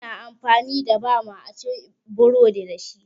Ana amfani da bama a ci burodi dashi